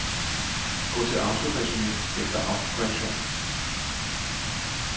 Gå til autoresumé efter autokorrektion.